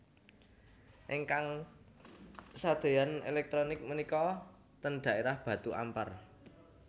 Ingkang sadeyan elektronik menika ten daerah Batu Ampar